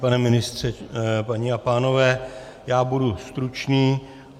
Pane ministře, paní a pánové, já budu stručný.